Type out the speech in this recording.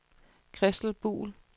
Christel Buhl